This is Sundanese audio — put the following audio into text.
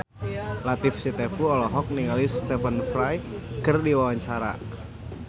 Latief Sitepu olohok ningali Stephen Fry keur diwawancara